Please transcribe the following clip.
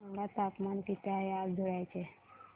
सांगा तापमान किती आहे आज धुळ्याचे